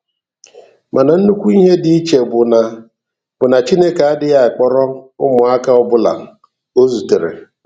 Mana nnukwu ihe dị iche bụ na bụ na Chineke adịghị akpọrọ ụmụaka ọbụla o zutere.